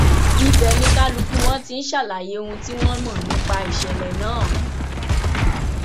ibẹ ni kálukú wọn ti ń ṣàlàyé ohun tí wọn mọ nípa ìṣẹlẹ náà